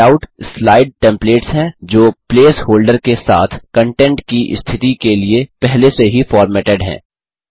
layout slide templates हैं जो placeholder के साथ कन्टेंट की स्थिति के लिए पहले से ही फॉर्मेटेड हैं